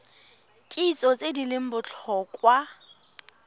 kitso tse di leng botlhokwa